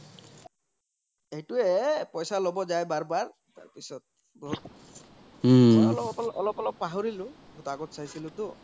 এইতো এ পইচা লব যাই বাৰ বাৰতাৰ পিছ্ত অলপ অলপ পাহৰিলো আগত চাইছিলোতো